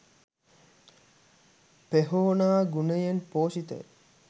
පෙහෝනා ගුණයෙන් පෝෂිත ය.